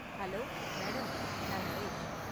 Hello madam. நான் நரேஷ்.